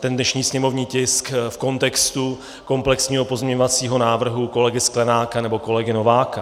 ten dnešní sněmovní tisk v kontextu komplexního pozměňovacího návrhu kolegy Sklenáka nebo kolegy Nováka.